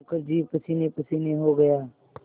मुखर्जी पसीनेपसीने हो गया